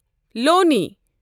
لونہِ